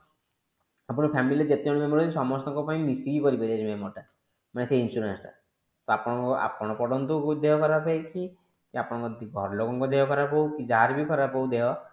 ଆପଣଙ୍କ family ରେ ଯେତେ ଜଣ member ଅଛନ୍ତି ସମସ୍ତଙ୍କ ପାଇଁ ମିସିକି କରିପାରିବେ ଟା ମାନେ ସେ insurance ତ ଆପଣ ଆପଣ ପଡନ୍ତୁ ଦେହ ଖରାପ ହେଇଛି କି ଆପଣଙ୍କ ଘର ଲୋକଙ୍କ ଦେହ ଖରାପ ହୋଉ କି ଯାହାର ବି ଖରାପ ହୋଉ ଦେହ